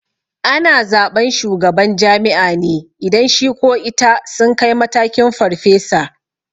Ana zaɓan shugaban jami'a ne idan shi ko ita sun kai matakin farfesa